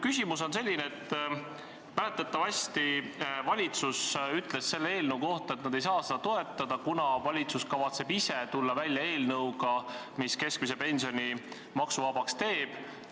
Mäletatavasti ütles valitsus selle eelnõu kohta, et nad ei saa seda toetada, kuna valitsus kavatseb ise tulla välja eelnõuga, mis keskmise pensioni maksuvabaks teeb.